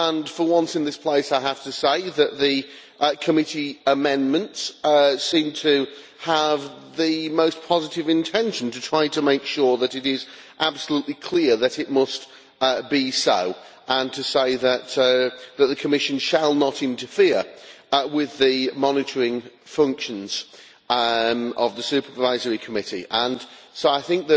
For once in this place, I have to say that the committee amendments seem to have the most positive intention to try to make sure that it is absolutely clear that it must be so, and to say that the Commission shall not interfere with the monitoring functions of the Supervisory Committee. So I think